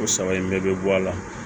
O saba in bɛɛ bɛ bɔ a la